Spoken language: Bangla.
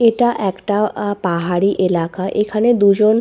এটা একটা এ পাহাড়ি এলাকা এখানে দুজন --